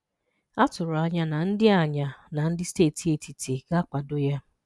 A tụrụ anya na ndị anya na ndị steeti etiti ga-akwado ya.